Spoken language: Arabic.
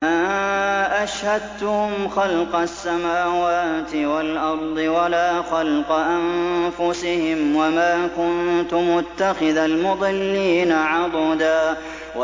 ۞ مَّا أَشْهَدتُّهُمْ خَلْقَ السَّمَاوَاتِ وَالْأَرْضِ وَلَا خَلْقَ أَنفُسِهِمْ وَمَا كُنتُ مُتَّخِذَ الْمُضِلِّينَ عَضُدًا